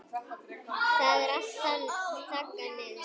Það er allt þaggað niður.